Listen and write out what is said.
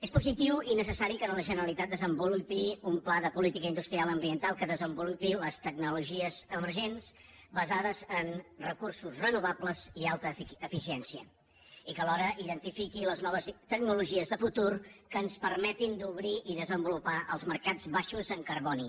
és positiu i necessari que la generalitat desenvolupi un pla de política industrial ambiental que desenvolupi les tecnologies emergents basades en recursos renovables i alta eficiència i que alhora identifiqui les noves tecnologies de futur que ens permetin obrir i desenvolupar els mercats baixos en carboni